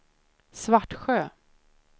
Svartsjö